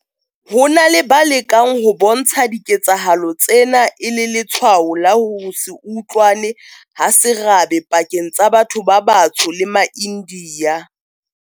Ho na le ba lekang ho bontsha diketsahalo tsena e le letshwao la ho se utlwane ha serabe pakeng tsa batho ba batsho le maIndiya.